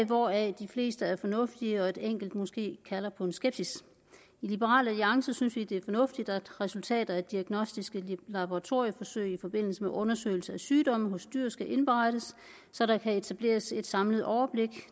hvoraf de fleste af fornuftige og et enkelt måske kalder på en skepsis i liberal alliance synes vi det er fornuftigt at resultater af diagnostiske laboratorieforsøg i forbindelse med undersøgelse af sygdomme hos husdyr skal indberettes så der kan etableres et samlet overblik